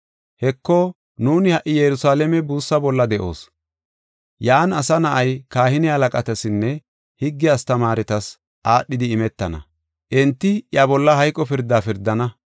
“Heko, nuuni ha77i Yerusalaame buussaa bolla de7oos. Yan Asa Na7ay kahine halaqatasinne higge astamaaretas aadhidi imetana. Enti iya bolla hayqo pirda pirdana.